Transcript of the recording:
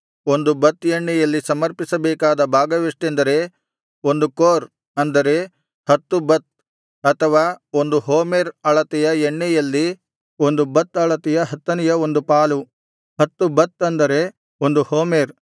ಒಂದು ಬತ್ ಎಣ್ಣೆಯಲ್ಲಿ ಸಮರ್ಪಿಸಬೇಕಾದ ಭಾಗವೆಷ್ಟೆಂದರೆ ಒಂದು ಕೋರ್ ಅಂದರೆ ಹತ್ತು ಬತ್ ಅಥವಾ ಒಂದು ಹೋಮೆರ್ ಅಳತೆಯ ಎಣ್ಣೆಯಲ್ಲಿ ಒಂದು ಬತ್ ಅಳತೆಯ ಹತ್ತನೆಯ ಒಂದು ಪಾಲು ಹತ್ತು ಬತ್ ಅಂದರೆ ಒಂದು ಹೋಮೆರ್